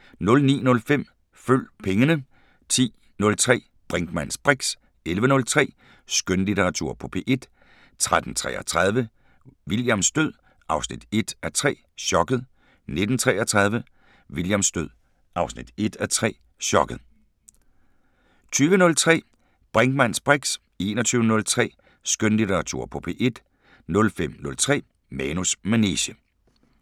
09:05: Følg pengene 10:03: Brinkmanns briks 11:03: Skønlitteratur på P1 13:33: Williams død 1:3 – Chokket 19:33: Williams død 1:3 – Chokket 20:03: Brinkmanns briks 21:03: Skønlitteratur på P1 05:03: Manus manege